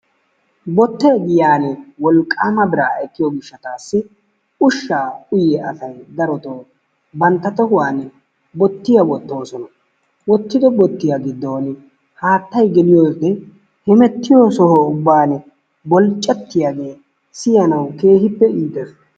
Bottee giyaan wolqqaama biraa ekkiyo gishshataassi ushshaa uyiya asay darotoo bantta tohuwaan darotoo bottiya wottoosona. Wottido bottiya gidoon hattay geliyode hemettiyo soho ubban bolccattiyaagee siyanawu keehiippe iitees.